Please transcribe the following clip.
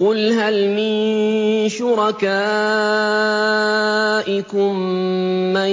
قُلْ هَلْ مِن شُرَكَائِكُم مَّن